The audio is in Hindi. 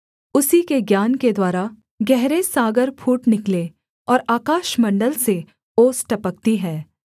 उसी के ज्ञान के द्वारा गहरे सागर फूट निकले और आकाशमण्डल से ओस टपकती है